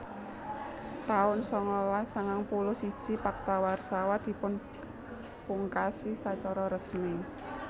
taun sangalas sangang puluh siji Pakta Warsawa dipunpungkasi sacara resmi